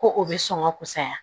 Ko o bɛ sɔn ka kusaya